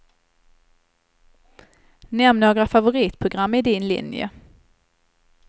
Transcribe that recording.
Nämn några favoritprogram i din linje.